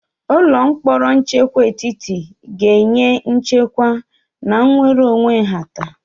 Ụlọ mkpọrọ nchekwa etiti ga-enye nchekwa na nnwere onwe nhata.